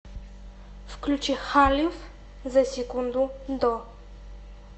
включи халиф за секунду до